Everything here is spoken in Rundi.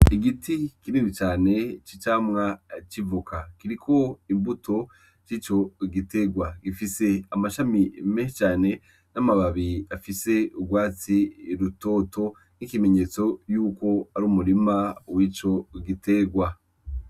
Igiti kinini cane c'icamwa c'ivoka, kiriko imbuto cico giterwa, gifise amashami menshi cane n'amababi afise urwatsi rutoto nk'ikimenyetso yuko ari umurima wico giterwa.